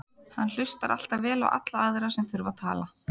Hann hlustar alltaf vel á alla aðra sem þurfa að tala.